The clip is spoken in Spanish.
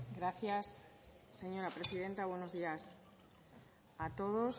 gracias señora presidenta buenos días a todos